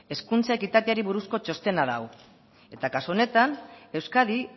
hezkuntza ekitateari buruzko txostena da hau eta kasu honetan euskadi